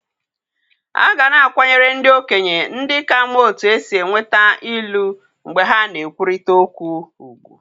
A ga na-akwanyere ndị okenye ndị ka ma otú e si enweta Ilu mgbe ha na-ekwurịta okwu.